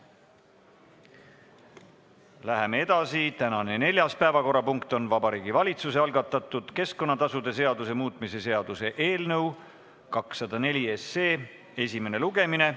Läheme edasi, tänane 4. päevakorrapunkt on Vabariigi Valitsuse algatatud keskkonnatasude seaduse muutmise seaduse eelnõu 204 esimene lugemine.